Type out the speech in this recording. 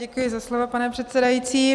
Děkuji za slovo, pane předsedající.